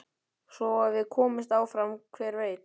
Svo ef við komumst áfram hver veit?